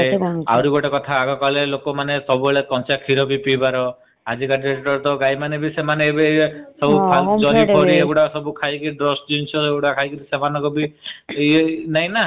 ତାପରେ ଆଉ ଗୋଟେ କଥା ଆଗ କାଳରେ ଲୋକ ମାନେ ସବୁବେଳେ କଞ୍ଚା କ୍ଷୀର ବି ପିଇବାର । ଆଜିକା date ରେ ତ ଗାଈ ମାନେ ବି ସେମାନେ ସବୁ ଜରି ଫରୀ ଖାଇକି dust ଜିନିଷ ଖାଇକି ବି ସେମାନଙ୍କର ବି ଏଅ ନାହି ନା।